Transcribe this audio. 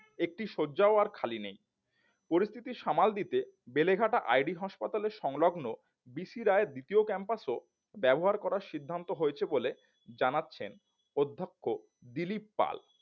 একটি শয্যাও আর খালি নেই পরিস্থিতির সামাল দিতে বেলেঘাটা ID হাসপাতালে সংলগ্ন বি সি রায় দ্বিতীয় ক্যাম্পাস ও ব্যবহার করার সিদ্ধান্ত হয়েছে বলে জানাচ্ছেন অধ্যক্ষ দিলীপ পাল